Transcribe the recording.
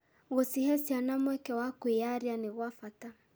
Gũcihe ciana mweke wa kwĩyaria nĩ gwa bata.